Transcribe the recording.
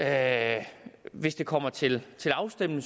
at hvis det kommer til til afstemning